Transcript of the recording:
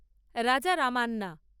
রাজারামান্যা